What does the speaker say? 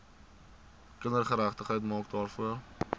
kindergeregtigheid maak daarvoor